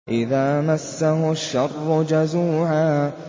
إِذَا مَسَّهُ الشَّرُّ جَزُوعًا